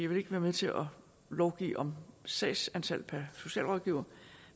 vil ikke være med til at lovgive om sagsantal per socialrådgiver